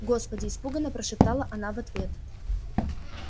господи испуганно прошептала она в ответ